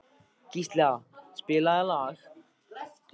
Gísla, spilaðu lag.